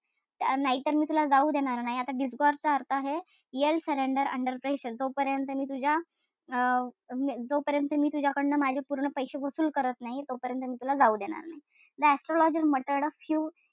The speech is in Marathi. नाहीतर मी तुला जाऊच देणार नाही. आता disgorge चा अर्थ आहे surrender under pressure जोपर्यंत मी तुझ्या अं जोपर्यंत मी तुझ्याकडन माझे पूर्ण पैशे वसूल करत नाही. तोपर्यंत मी तुला जाऊ देणार नाही. The astrologer muttered a few,